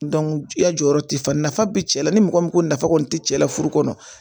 i ya jɔyɔrɔ ti fa nafa bɛ cɛ la ni mɔgɔ min ko nafa kɔni ti cɛ la furu kɔnɔ